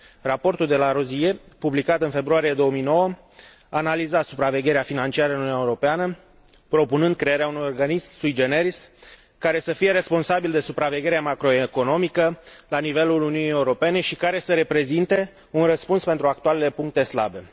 Raportul De Larosière, publicat în februarie 2009, analiza supravegherea financiară în Uniunea Europeană, propunând crearea unui organism sui generis, care să fie responsabil de supravegherea macroeconomică la nivelul Uniunii Europene și care să reprezinte un răspuns pentru actualele puncte slabe.